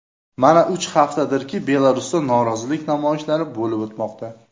Mana uch haftadirki Belarusda norozilik namoyishlari bo‘lib o‘tmoqda.